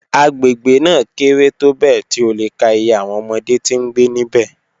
Agbegbe naa kere tobẹẹ ti o le ka iye awọn ọmọde ti ngbe nibẹ